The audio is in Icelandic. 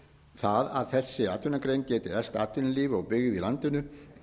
það að þessi atvinnugrein geti eflt atvinnulíf og byggð í landinu